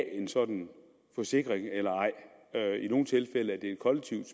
en sådan forsikring eller ej i nogle tilfælde er det et kollektivt